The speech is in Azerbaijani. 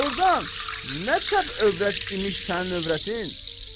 Doğrudan, nə çəp övrət imiş sənin övrətin?